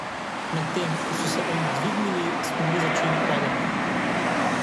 Medtem ko so se oni dvignili, smo mi začeli padati.